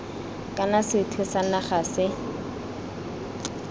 kana sethwe sa naga se